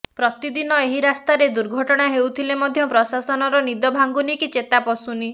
ପ୍ରତିଦିନ ଏହି ରାସ୍ତାରେ ଦୁର୍ଘର୍ଟଣା ହେଉଥିଲେ ମଧ୍ୟ ପ୍ର୍ରଶାସନର ନିଦ ଭାଙ୍ଗୁନି କି ଚେତା ପଶୁନି